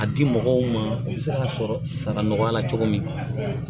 A di mɔgɔw ma u bɛ se k'a sɔrɔ sara nɔgɔya la cogo min